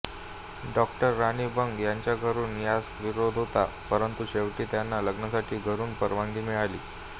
doctor Rani Bang यांच्या घरून यास विरोध होता परंतु शेवटी त्यांना लग्नासाठी घरून परवानगी मिळाली